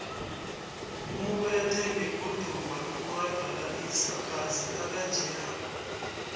umubethe ngeguduva lokurabhalisa kazi nakanjeya